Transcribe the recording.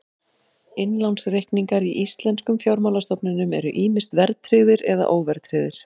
Innlánsreikningar í íslenskum fjármálastofnunum eru ýmist verðtryggðir eða óverðtryggðir.